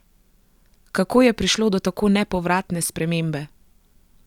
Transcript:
Kako je prišlo do tako nepovratne spremembe?